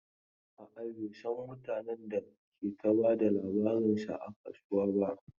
A'a, bai san mutanen da ke ta ba da labarinsa a kasuwan ba.